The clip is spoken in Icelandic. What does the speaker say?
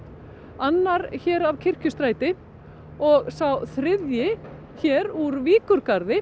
annar hér af Kirkjustræti og sá þriðji hér úr